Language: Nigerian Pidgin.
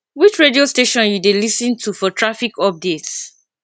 which radio station you dey lis ten to for traffic updates